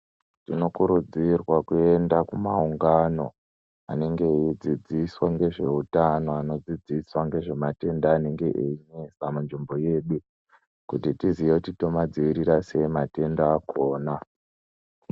Tinokurudzirwa kuenda kumaungano anenge eidzidziswa ngezveutano anodzidziswa ngezvematenda anenge einesa munzvimbo yedu. Kuti tizive kuti tomadzivirira sei matenda akona.